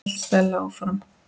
hélt Stella áfram.